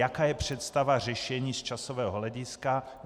Jaká je představa řešení z časového hlediska?